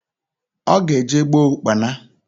Oga eje gboo Ụkpana.